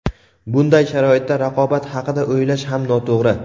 Bunday sharoitda raqobat haqida o‘ylash ham noto‘g‘ri.